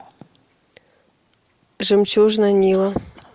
жемчужина нила